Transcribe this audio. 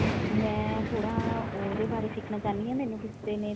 ਮੈਂ ਥੋੜਾ ਉਹਦੇ ਬਾਰੇ ਸਿੱਖਣਾ ਚਾਹਣੀ ਹਾਂ ਮੈਨੂੰ ਕਿਸੇ ਨੇ